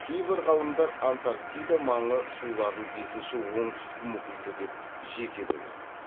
кейбір ғалымдар антарктида маңы суларын бесінші оңтүстік мұхиты деп жеке бөледі